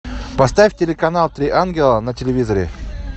поставь телеканал три ангела на телевизоре